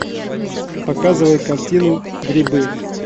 показывай картину грибы